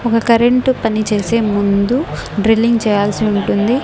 ఒక కరెంటు పని చేసే ముందు డ్రిల్లింగ్ చేయాల్సి ఉంటుంది.